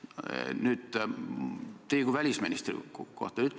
Nüüd aga küsin teilt kui välisministrilt.